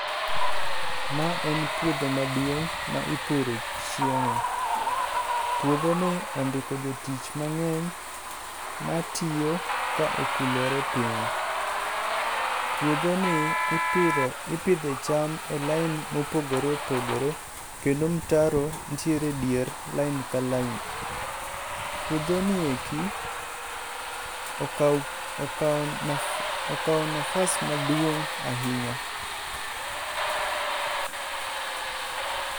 Ma en puodho maduong' ma ipure chiemo. Puodho ni ondiko jotich mang'eny matiyo ka okulore piny. Puodho ni ipidho ipidhe cham e line mopogore opogore kendo mtaro nitiere e dier line ka line. Puodho ni eki okao okao okao nafas maduong' ahinya.